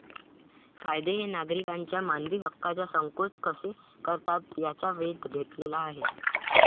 कायदे हे नागरिकांच्या मानवी हक्कांचा संकोच कसे करतात याचा वेध घेतलेला आहे.